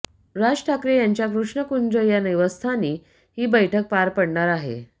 राज ठाकरे यांच्या कृष्णकुंज या निवासस्थानी ही बैठक पार पडणार आहे